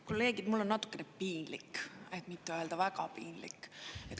Kolleegid, mul on natukene piinlik, et mitte öelda väga piinlik.